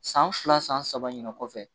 San fila san saba ɲinɛ kɔfɛ